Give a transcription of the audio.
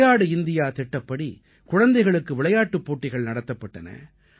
விளையாடு இந்தியா திட்டப்படி குழந்தைகளுக்கு விளையாட்டுப் போட்டிகள் நடத்தப்பட்டன